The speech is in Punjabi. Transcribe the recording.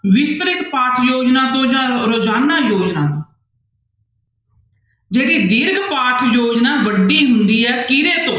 ਵਿਸਤ੍ਰਿਤ ਤੋਂ ਜਾਂ ਰੋਜ਼ਾਨਾ ਤੋਂ ਜਿਹੜੀ ਦੀਰਘ ਯੋਜਨਾ ਵੱਡੀ ਹੁੰਦੀ ਹੈ ਕਿਹਦੇ ਤੋਂ